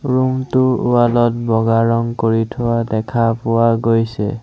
Room টোৰ wall ত বগা ৰং কৰি থোৱা দেখা পোৱা গৈছে।